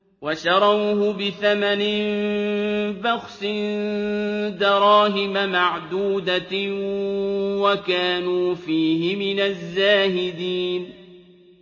وَشَرَوْهُ بِثَمَنٍ بَخْسٍ دَرَاهِمَ مَعْدُودَةٍ وَكَانُوا فِيهِ مِنَ الزَّاهِدِينَ